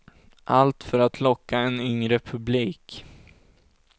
Allt för att locka en yngre publik.